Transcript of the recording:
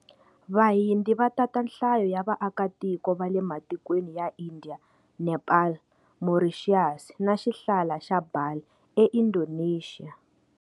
Vahindi va tata nhlayo ya va aka tiko va le matikweni ya Indiya, Nepal, Morixiyasi na xihlala xa Bali e Indonexiya.